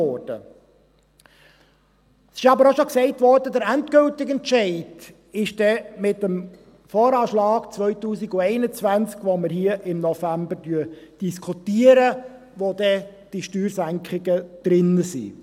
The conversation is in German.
Es wurde aber auch schon gesagt, dass der endgültige Entscheid dann mit dem VA 2021 gefällt wird, den wir hier im Grossen Rat im November diskutieren und der dann diese Steuersenkungen enthalten wird.